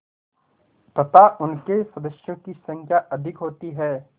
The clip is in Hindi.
तथा उनके सदस्यों की संख्या अधिक होती है